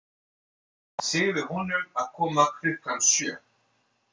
Segðu honum að koma klukkan sjö.